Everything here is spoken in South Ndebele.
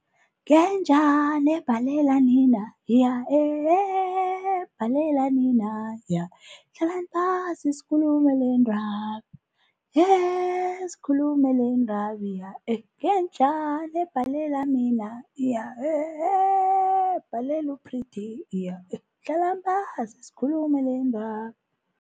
Ngenjani ebhalela nina? iya eh, heee ebhalela nina? iya , hlalani phasi sikhulume lendaba yeeee sikhulume lendaba iya eh, ngenjani ebhalela nina? iya eh. Eeeee ebhalelu u-Pretty iya eh hlalani phasi sikhulume lendaba.